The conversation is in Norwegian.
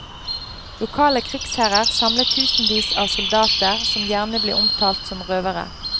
Lokale krigsherrer samlet tusenvis av soldater, som gjerne ble omtalt som røvere.